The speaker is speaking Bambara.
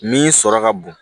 Min sɔrɔ ka bon